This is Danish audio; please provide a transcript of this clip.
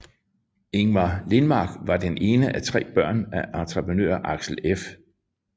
Ingmar Lindmarker var det ene af tre børn af entreprenør Axel F